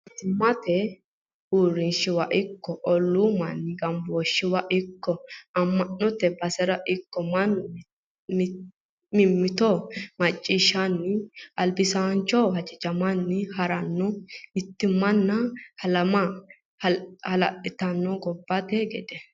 Mootimmate uurrinsha ikko ollu manni gambooshiwa ikko ama'note basera ikko mannu mimmitto macciishshanni albisanchoho hajajamanni hariro mittimma halama hala'littano gobbate gede.